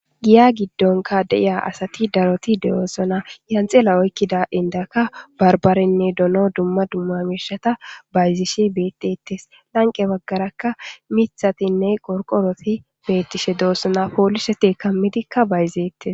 Giya giddonka deiya asati daroti de'oosona yanxilla oykkida indaka barbarenne dono dumma dummamishata bayzishi beettettes lanqe baggarakka mithatinne qorqoroti beettishe doossona poolishe tekammidikka bayzeettes.